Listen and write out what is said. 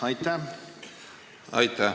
Aitäh!